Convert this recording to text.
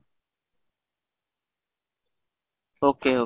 okay okay.